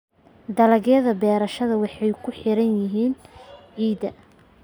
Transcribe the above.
Dalagyada beerashada waxay ku xiran tahay ciidda.